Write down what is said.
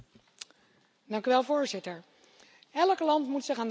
Voorzitter, elk land moet zich aan de afspraken houden.